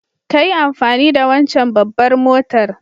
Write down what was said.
kayi amfani da wancen babbar motar.